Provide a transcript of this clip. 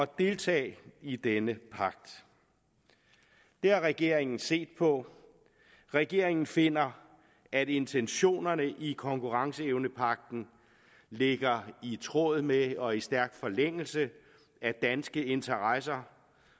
deltage i denne pagt det har regeringen set på og regeringen finder at intentionerne i konkurrenceevnepagten ligger i tråd med og i stærk forlængelse af danske interesser